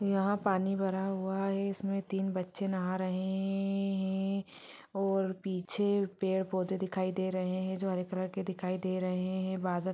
यहाँ पानी भरा हुआ है इसमें तीन बच्चे नहा रहे है है है है और पीछे पेड़ पौधे दिखाई दे रहे है जो हरे कलर के दिखाई दे रहे है और बादल---